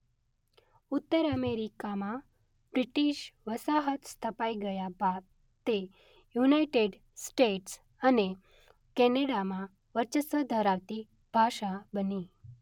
ઉત્તર અમેરિકામાં બ્રિટિશ વસાહત સ્થપાઇ ગયા બાદ તે યુનાઇટેડ સ્ટેટ્સ અને કેનેડામાં વર્ચસ્વ ધરાવતી ભાષા બની.